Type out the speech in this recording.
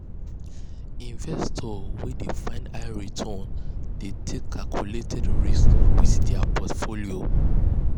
investors wey wey dey find high returns dey take calculated risks with dia portfolios.